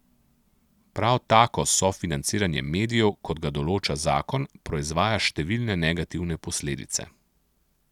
Prav tako sofinanciranje medijev, kot ga določa zakon, proizvaja številne negativne posledice.